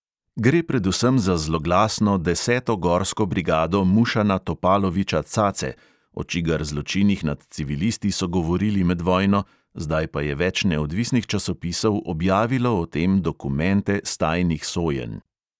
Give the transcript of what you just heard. Gre predvsem za zloglasno deseto gorsko brigado mušana topaloviča - cace, o čigar zločinih nad civilisti so govorili med vojno, zdaj pa je več neodvisnih časopisov objavilo o tem dokumente s tajnih sojenj.